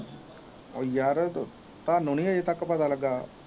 ਉਹ ਯਾਰ ਤਾਨੂੰ ਨੀ ਹਜੇ ਤਕ ਪਤਾ ਲੱਗਾ